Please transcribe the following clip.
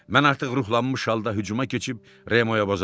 Mən artıq ruhlanmış halda hücuma keçib Remoya boğardım.